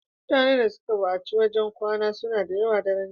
Mutane da suka bukaci wajan kwana suna dayawa a daran jiya